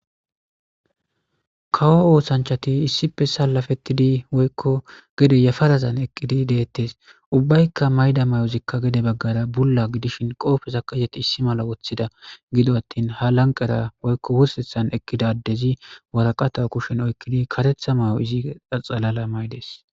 Kawo osanchati issipe salafetidi woyko gede yafarazan eqidi detes ubayka mayida mayoyzika gede bula gidishn qofezaka izeti issi mala wothida gido atin ha laqera woyko wursethan eqida adezi waraqata kushen oykidi karetha mayo izi xalala mayides